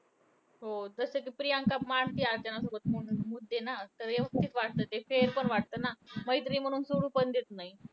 हो. जसं कि प्रियंका मांडते अर्चनासमोर मु मुद्दे ना. तर व्यवस्थित वाटतं ते fair पण वाटतं ना. मैत्री आहे म्हणून सोडून पण देत नाही.